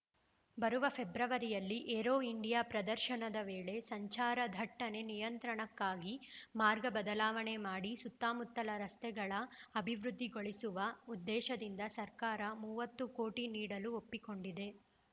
ಬರುವ ಫೆಬ್ರವರಿಯಲ್ಲಿ Aero India ಪ್ರದರ್ಶನದ ವೇಳೆ ಸಂಚಾರ ದಟ್ಟಣೆ ನಿಯಂತ್ರಣಕ್ಕಾಗಿ ಮಾರ್ಗ ಬದಲಾವಣೆ ಮಾಡಿ ಸುತ್ತಮುತ್ತಲ ರಸ್ತೆಗಳ ಅಭಿವೃದ್ಧಿಗೊಳಿಸುವ ಉದ್ದೇಶದಿಂದ ಸರ್ಕಾರ ಮೂವತ್ತು ಕೋಟಿ ನೀಡಲು ಒಪ್ಪಿಕೊಂಡಿದೆ